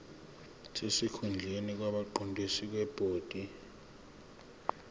sesikhundleni kwabaqondisi bebhodi